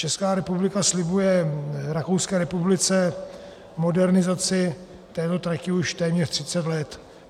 Česká republika slibuje Rakouské republice modernizaci této trati už téměř 30 let.